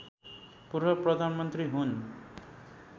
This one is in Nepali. पूर्व प्रधानमन्त्री हुन्